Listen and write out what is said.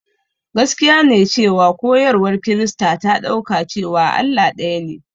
Gaskiya ne cewa koyarwar Kirista ta ɗauka cewa Allah ɗayane.